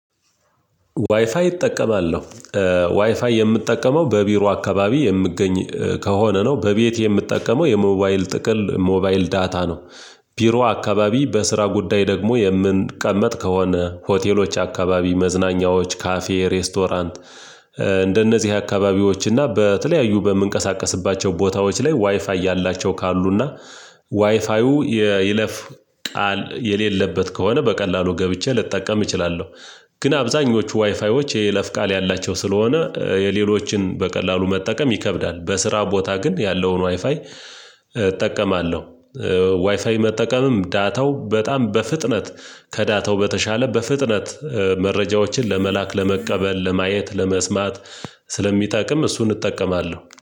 ዋይፋይ እጠቀማለሁ። ዋይፋይ የምጠቀመው በቢሮ አካባቢ የምገኝ ከሆነ ነው። በቤቴ የምትጠቀመው የሞባይል ጥቅል፣ ሞባይል ዳታ ነው። ቢሮ አካባቢ በስራ ጉዳይ ደግሞ የምንቀመጥ ከሆነ፤ ሆቴሎች አካባቢ መዝናኛዎች ካፌ፤ ሬስቶራንት እንደነዚህ አካባቢዎች እና በተለያዩ በምንቀሳቀስባቸው ቦታዎች ላይ ዋይፋይ ያላቸው ካሉና ዋይፋዩ የይለፍ ቃል የሌለበት ከሆነ በቀላሉ ገብቼ ልጠቀም እችላለሁ። ግን አብዛኞቹ ዋይፋይዎች የይለፍ ቃል ያላቸው ስለሆነ፤ የሌሎችን በቀላሉ መጠቀም ይከብዳል። በስራ ቦታ ግን ያለውን ዋይፋይ እጠቀማለሁ። ዋይፋይ መጠቀምም ዳታው በጣም በፍጥነት ከዳታው በተሻለ በፍጥነት መረጃዎችን ለመላክ፣ ለመቀበል፣ ለማየት፣ ለመስማት ስለሚጠቅም እሱን እጠቀማለሁ።